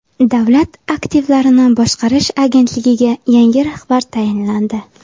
Davlat aktivlarini boshqarish agentligiga yangi rahbar tayinlandi.